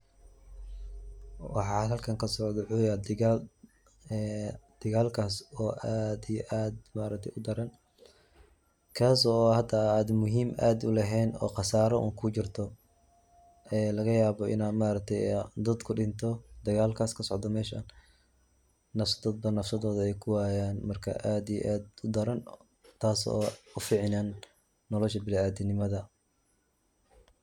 Waxa halkan kasocdo wuxuu yahay dagaal, dagaalkaas oo aad iyo aad udaran, kaas oo xitaa muhiim aad uleheen oo khasaaro un kujirto, laga yaaba inuu dad kudinto dagaalkaas kasocdo meesha, dad nafsadooda kuwaayan, marka aad iyo aad udaran taas oo uficneen nolosha biniadamnimada.